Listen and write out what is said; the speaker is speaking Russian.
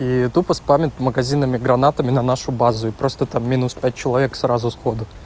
и тупо спамит магазинами гранатами на нашу базу и просто там минус а человек сразу с ходу